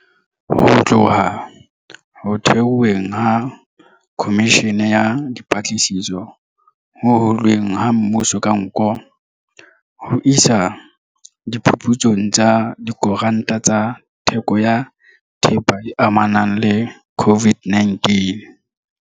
Ho tloha ho theweng ha Khomishene ya Dipatlisiso Ho hulweng ha Mmuso ka Nko, ho isa diphuputsong tsa dikontraka tsa theko ya thepa e amanang le COVID-19.